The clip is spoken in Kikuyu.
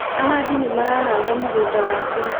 Ahandi nĩ marahanda mũgũnda wakwa